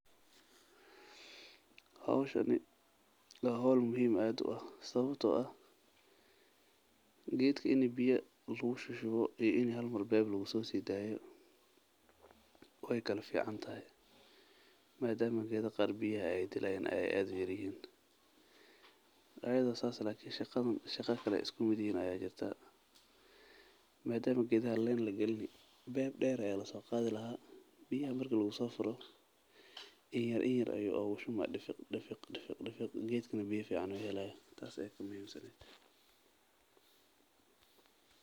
Xowshaaniwa xol muxiim adh uax, sawabto ah, gedka ini biya lagushushuwo iyo ini hal mar pep lagusosodayo way kulaficantaxay, madamo gedaxa qar biyaxa ay dilayan ay ad uyaryixin, ayadho sas eh lakin shagaadan shagaa kale ayey iskumidyixin aya jirta, madamo gedaxa len lagalini, pep der aya lasogadhilaaxa biyaha marki lagusofuro, inyar inyar ayu ogushubna difig difig gedkana biyaa fican ayu xelayaa taas aya kamuxiimsan.